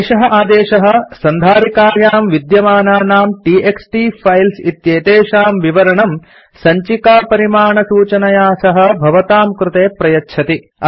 एषः आदेशः सन्धारिकायां विद्यमानानाम् टीएक्सटी फाइल्स् इत्येतेषां विवरणं सञ्चिकापरिमाणसूचनया सह भवतां कृते प्रयच्छति